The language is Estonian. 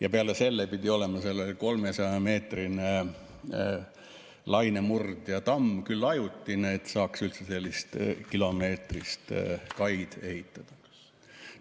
Ja peale selle pidi olema seal 300‑meetrine lainemurdjatamm, küll ajutine, et saaks üldse sellist kilomeetrist kaid ehitada.